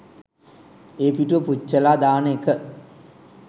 ඒ පිටුව පුච්චලා දාන එක